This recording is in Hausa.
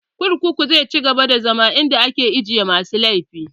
Kurkuku zai ci gaba da zama inda ake ajiye masu laifi